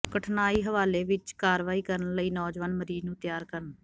ਕਠਨਾਈ ਹਵਾਲੇ ਵਿਚ ਕਾਰਵਾਈ ਕਰਨ ਲਈ ਨੌਜਵਾਨ ਮਰੀਜ਼ ਨੂੰ ਤਿਆਰ ਕਰਨ